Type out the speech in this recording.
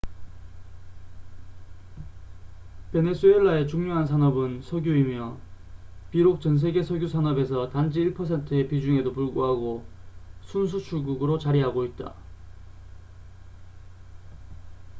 베네수엘라의 중요한 산업은 석유이며 비록 전 세계 석유 산업에서 단지 1퍼센트의 비중에도 불구하고 순 수출국으로 자리하고 있다